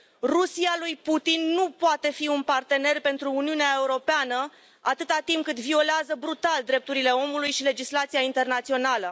Rusia lui Putin nu poate fi un partener pentru Uniunea Europeană, atât timp cât violează brutal drepturile omului și legislația internațională.